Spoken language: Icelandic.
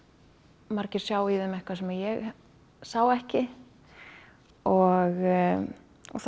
margir sjá í þeim eitthvað sem ég sá ekki og það